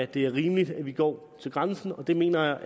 det er rimeligt at vi går til grænsen det mener